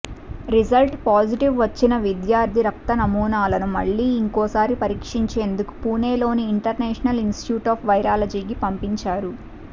result positive వచ్చిన విద్యార్థి రక్త నమూనాలను మళ్లీ ఇంకోసారి పరీక్షించేందుకు పుణెలోని ఇంటర్నేషనల్ ఇనిస్టిట్యూట్ ఆఫ్ వైరాలజీకి పంపించారు